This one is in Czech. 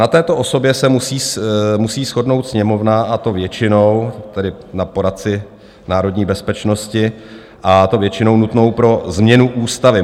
Na této osobě se musí shodnout Sněmovna, a to většinou, tedy na poradci národní bezpečnosti, a to většinou nutnou pro změnu ústavy.